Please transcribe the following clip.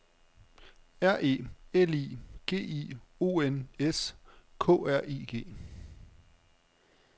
R E L I G I O N S K R I G